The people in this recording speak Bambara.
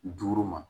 Duuru ma